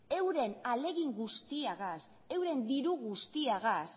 euren ahalegin guztiagaz euren diru guztiagaz